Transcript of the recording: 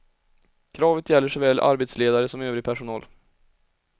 Kravet gäller såväl arbetsledare som övrig personal.